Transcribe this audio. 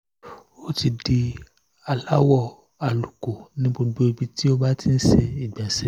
ó ti di aláwọ̀ àlùkò ní gbogbo ibi tó bá ti ń ti ń ṣe ìgbọ̀nsẹ̀